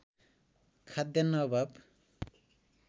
खाद्यान्न अभाव